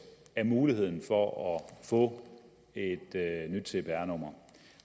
af muligheden for at få et nyt cpr nummer